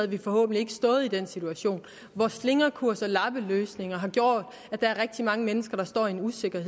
vi forhåbentlig ikke stået i den situation hvor slingrekurs og lappeløsninger har gjort at der er rigtig mange mennesker der står i en usikker